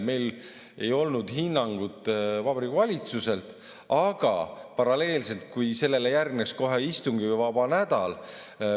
Meil ei olnud hinnangut Vabariigi Valitsuselt, aga paralleelselt, kui sellele järgneks kohe istungivaba nädal ...